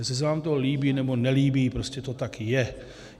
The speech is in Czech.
Jestli se vám to líbí, nebo nelíbí, prostě to tak je.